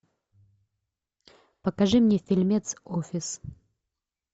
покажи мне фильмец офис